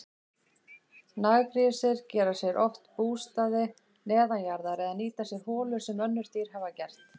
Naggrísir gera sér oft bústaði neðanjarðar eða nýta sér holur sem önnur dýr hafa gert.